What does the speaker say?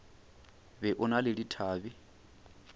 be o na le dithabe